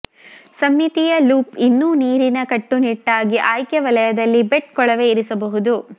ಸಮ್ಮಿತೀಯ ಲೂಪ್ ಇನ್ನೂ ನೀರಿನ ಕಟ್ಟುನಿಟ್ಟಾಗಿ ಆಯ್ಕೆ ವಲಯದಲ್ಲಿ ಬೆಟ್ ಕೊಳವೆ ಇರಿಸಬಹುದು